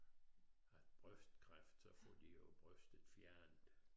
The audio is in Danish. Har brystkræft så får de jo brystet fjernet